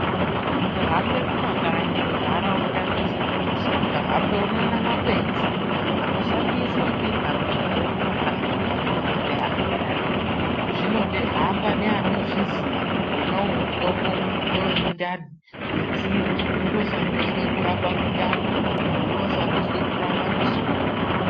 Ukahambe kumakanyi muntaraunda dzeshe dzeshe ukahamba unoone makwenzi anoshandiswa ngentaraundayo mumakanyi kurape antu zvinode kuhamba eanozviziya kuti wona uyu mutombo ngewe mundani, ngwenzi iri rinoshaniswa kurape mundani, iri roshandiswe kurapa musoro.